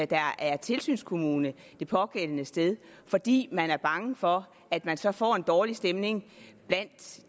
der er tilsynskommune det pågældende sted fordi man er bange for at man så får en dårlig stemning blandt